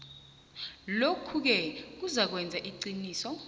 lokhuke kuzakwenza iqiniso